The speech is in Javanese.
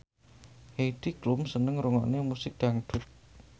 Heidi Klum seneng ngrungokne musik dangdut